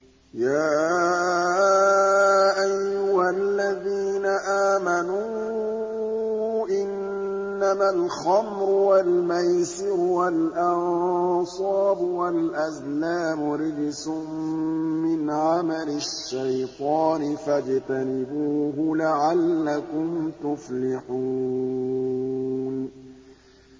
يَا أَيُّهَا الَّذِينَ آمَنُوا إِنَّمَا الْخَمْرُ وَالْمَيْسِرُ وَالْأَنصَابُ وَالْأَزْلَامُ رِجْسٌ مِّنْ عَمَلِ الشَّيْطَانِ فَاجْتَنِبُوهُ لَعَلَّكُمْ تُفْلِحُونَ